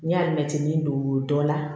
N'i y'a mɛn tin don dɔ la